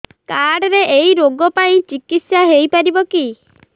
card ରେ ଏଇ ରୋଗ ପାଇଁ ଚିକିତ୍ସା ହେଇପାରିବ କି